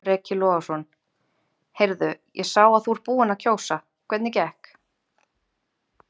Breki Logason: Heyrðu ég sá að þú ert búinn að kjósa, hvernig gekk?